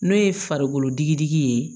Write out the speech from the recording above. N'o ye farikolo digidigi ye